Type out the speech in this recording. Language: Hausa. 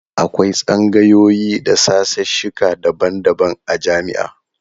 Akwai tsangayoyi da sashesheka daban-daban a jami'a.